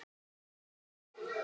Jú, víst.